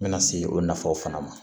N bɛna se o nafaw fana ma